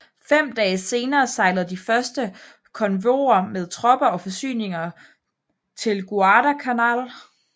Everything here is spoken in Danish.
Fem dage senere sejlede de første konvojer med tropper og forsyninger til Guadalcanal